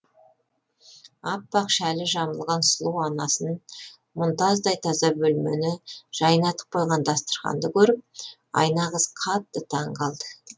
аппақ шәлі жамылған сұлу анасын мұнтаздай таза бөлмені жайнатып қойған дастарханды көріп айна қыз қатты таң қалды